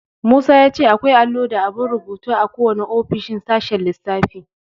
Musa ya ce akwai allo da abun rubutu a kowane ofishin a sashen lissafi.